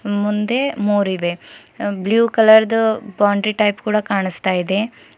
ಮುಂದೆ ಮೂರಿವೆ ಬ್ಲೂ ಕಲರ್ದು ಬೌಂಡರಿ ಟೈಪ್ ಕೂಡ ಕಾಣಿಸ್ತಾ ಇದೆ.